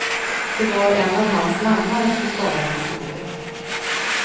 Det var en av hans mannar som skadades i går.